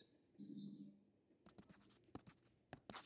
Ísbjörg steliþjófur á fyrir bíómiða.